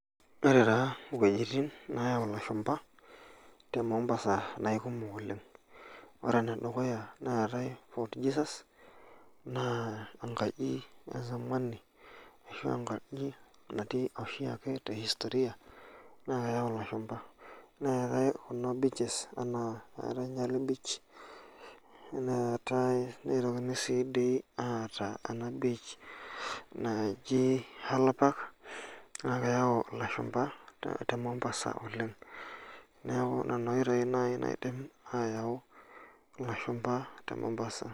Ore taa iweuitin naayau ilashumba te Mombasa naa kumok oleng' ore enedukuya neetai Fort Jesus naa enkaji esamani ashu aa enkaji natii oshiake te historia naa keyau ilashumba neetai kulo beaches enaa noo nyali beach neetai nitoki sii doi aata ena beach naji High park naa keyau ilashumba te Mombasa oleng', neeku nena oitoi naai naidim aayau ilashumba te Mombasa.